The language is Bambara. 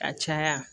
Ka caya